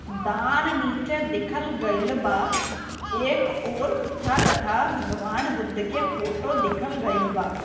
दान नीचे दिखल गइल बा एक और तथा कथा भगवान बुद्ध के फोटो दिखल गइल बा।